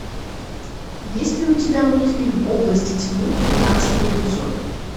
есть ли у тебя мультфильм области тьмы тринадцатый эпизод